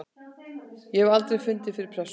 Ég hef aldrei fundið fyrir pressu.